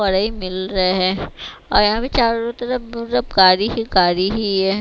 बड़ा ही मिल रहे हैं और यहाँ भी चारों तरफ काड़ी ही काड़ी ही है।